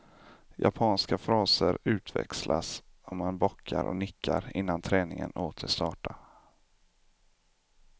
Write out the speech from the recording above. Japanska fraser utväxlas och man bockar och nickar innan träningen åter startar.